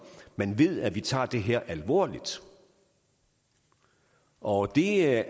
man ved at vi tager det her alvorligt og det er jeg